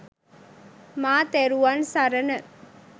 මා තෙරුවන් සරණ